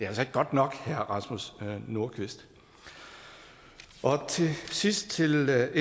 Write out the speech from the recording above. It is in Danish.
altså ikke godt nok herre rasmus nordqvist til sidst vil jeg